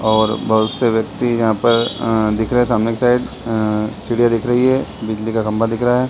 और बहुत से व्यक्ति यहाँ पर अ दिख रहे सामने की साइड अ सीढ़ियां दिख रही हैं बिजली का खंभा दिख रहा है।